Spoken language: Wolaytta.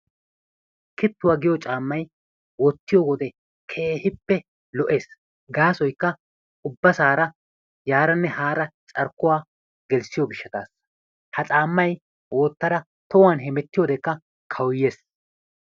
Kittuwa giyo caammay wottiyode keehippe lo'ees. Gaasoykka ubbasaara yaaranne haara carkkuwa gelissiyo gishshataassa. Ha caammay wottada tohan hemettiyodekka kawuyyees.